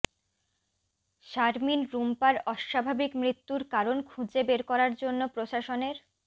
শারমিন রুম্পার অস্বাভাবিক মৃত্যুর কারণ খুঁজে বের করার জন্য প্রশাসনের